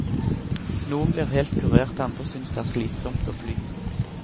Noen blir helt kurert, andre synes det er slitsomt å fly.